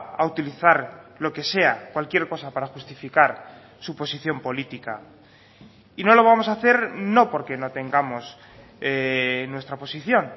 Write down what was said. a utilizar lo que sea cualquier cosa para justificar su posición política y no lo vamos a hacer no porque no tengamos nuestra posición